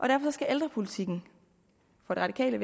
derfor skal ældrepolitikken fra det radikale